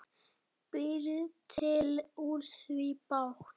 Býr til úr því bát.